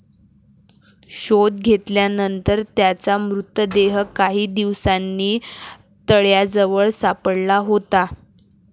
शोध घेतल्यानंतर त्याचा मृतदेह काही दिवसांनी तळ्याजवळ सापडला होता.